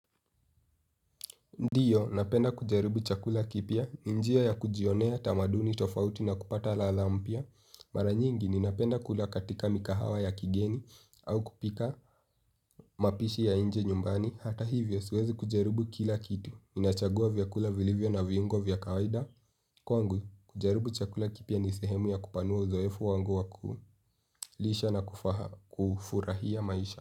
Ndiyo, napenda kujaribu chakula kipya. Njia ya kujionea tamaduni tofauti na kupata ladha mpya. Mara nyingi, ninapenda kula katika mikahawa ya kigeni au kupika mapishi ya nje nyumbani. Hata hivyo, siwezi kujaribu kila kitu. Ninachagua vyakula vilivyo na viungo vya kawaida. Kwangu, kujaribu chakula kipya ni sehemu ya kupanua uzoefu wangu wa ku lisha na kufurahia maisha.